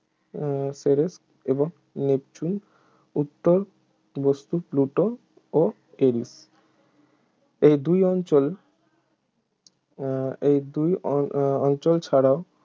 উহ করে এবং নেপচুন উত্তর বস্তু প্লুটো ও এরিস এই দুই অঞ্চল উহ এই দুই অ~ অঞ্চল ছাড়াও